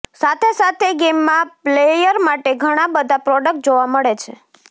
સાથે સાથે ગેમમાં પ્લયેર માટે ઘણા બધા પ્રોડક્ટ જોવા મળે છે